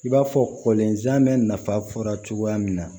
I b'a fɔ kɔlenzan bɛ nafa fɔra cogoya min na